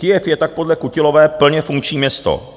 Kyjev je tak podle Kutilové plně funkční město.